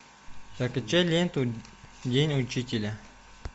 закачай ленту день учителя